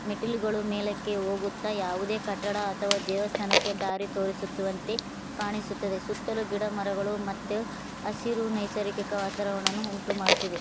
ಮೆಟ್ಟಿಲುಗಳು ಮೇಲಕ್ಕೆ ಹೋಗುತ್ತ ಯಾವುದೆ ಕಟ್ಟಡ ಅಥವ ದೇವಸ್ಥಾನಕ್ಕೆ ದಾರಿ ತೋರಿಸಿರುವಂತೆ ಕಾಣಿಸುತ್ತದೆ ಸುತ್ತಲು ಗಿಡ ಮರಗಳು ಮತ್ತು ಹಸಿರು ನಿಸರ್ಗಿಕ ವಾತಾವರ್ಣವನ್ನು ಉಂಟುಮಾಡುತ್ತದೆ.